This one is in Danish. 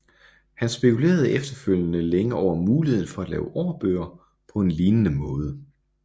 Han spekulerede efterfølgende længe over muligheden for at lave årbøger på en lignende måde